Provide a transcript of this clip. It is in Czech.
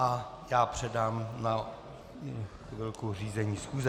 A já předám na chvilku řízení schůze.